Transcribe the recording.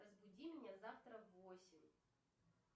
разбуди меня завтра в восемь